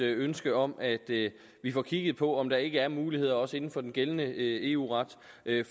ønske om at vi får kigget på om der ikke er muligheder også inden for den gældende eu ret